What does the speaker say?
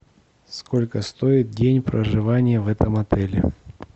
сколько стоит день проживания в этом отеле